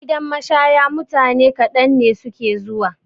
Gidan mashaya mutane kaɗan ne suke zuwa.